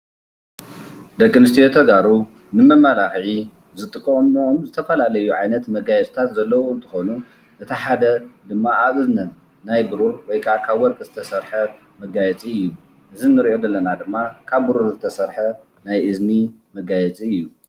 ደቄሰንትዩ ተጋሩ ንመመላኽዒ ዝጥቀምዎም ዝተፈላለዩ ዓይነታት መጋየፅታት ዘለውዎሞ እንትኾኑ እታ ሓደ ድማ ኣብነት ናይ ብሩር ወይ ድማ ካብ ወርቂ ዝተስርሐ መጋየፂ እዪ። እዚ እንሪኦ ዘለና ድማ ካብ ብሩር ዝተሰርሐ እዪ።